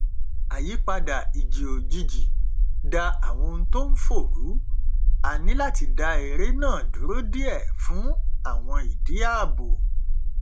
àyípadà ìjì òjijì da àwọn ohun tó n fò rú níláti dá eré náà dúró díẹ fún àwọn ìdí ààbò